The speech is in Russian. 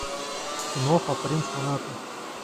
киноха принц монако